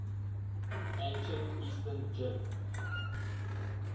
ancient eastern jin